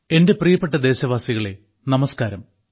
എന്റെ പ്രിയപ്പെട്ട ദേശവാസികളെ നമസ്കാരം